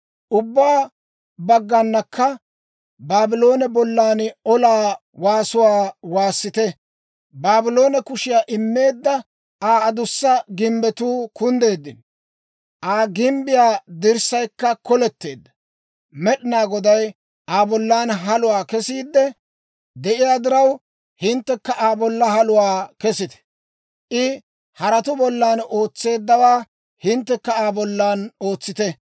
Ubbaa bagganakka Baabloone bollan olaa waasuwaa waassite! Baabloone kushiyaa immeedda; Aa adussa gimbbetuu kunddeeddino; Aa gimbbiyaa dirssaykka koletteedda. Med'inaa Goday Aa bollan haluwaa kesiidde de'iyaa diraw, hinttekka Aa bollan haluwaa kesite! I haratuu bollan ootseeddawaa hinttekka Aa bollan ootsite!